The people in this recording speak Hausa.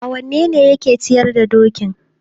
awanene yake ciyar da dokin?